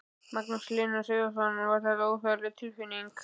Magnús Hlynur Hreiðarsson: Var þetta óþægileg tilfinning?